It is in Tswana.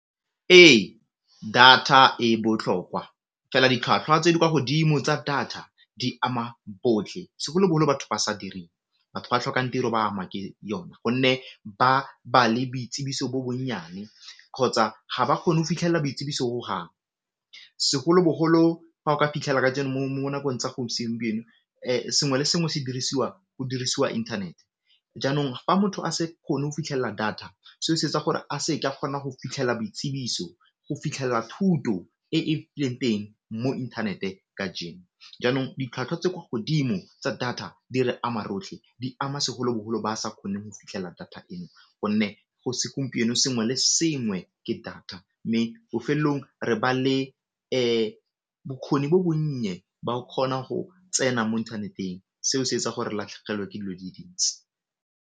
Ee, data e botlhokwa fela ditlhwatlhwa tse di kwa godimo tsa data di ama botlhe segolobogolo batho ba sa direng, batho ba tlhokang tiro ba ama ke yone gonne ba ba le boitsibiso bo bonnyane kgotsa ga ba kgone go fitlhelela boitsibiso hohang, segolobogolo fa o ka fitlhela ka nakong tsa segompieno sengwe le sengwe se dirisiwang, go dirisiwa internet, jaanong fa motho a se kgone go fitlhela data se o se etsa gore a se ke a kgona go fitlhela boitsibiso, go fitlhela thuto e e teng mo inthanete ka jaanong ditlhwatlhwa tse ko godimo tsa data di re ama rotlhe, di ama segolobogolo ba sa kgone go fitlhela data eno, gonne go segompieno sengwe le sengwe ke data mme bofelong re ba le bokgoni bo bonnye ba go kgona go tsena mo inthaneteng seo se etsa gore re latlhegelwe ke dilo di le dintsi.